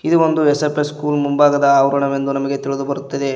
ಇದು ಒಂದು S F S school ಮುಂಭಾಗದ ಅವರನವೆಂದು ನಮಗೆ ತಿಳಿದು ಬರುತ್ತದೆ.